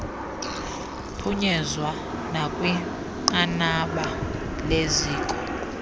phunyezwa nakwinqanaba leziko